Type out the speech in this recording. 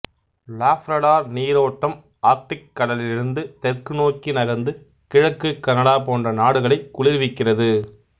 Labrador நீரோட்டம் Arctic கடலிலிருந்து தெற்கு நோக்கி நகர்ந்து கிழக்குக் கனடா போன்ற நாடுகளை குளிர்விக்கிறது